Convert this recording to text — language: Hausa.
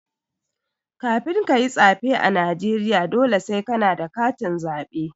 Kafin kayi tsaɓe a Najeriya, dole sai kana da katin zaɓe.